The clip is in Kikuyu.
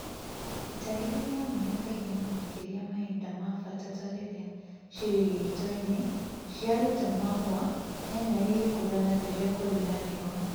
ĩtagĩrĩrĩa maĩ kaĩngĩ na makĩrĩa mahĩnda ma bata ta rĩrĩa cĩrĩ gĩĩto-ĩnĩ, cĩarũta mahũa, nyanya ĩgĩkũra na rĩrĩa kũrĩ na rĩũa